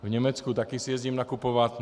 V Německu si taky jezdím nakupovat.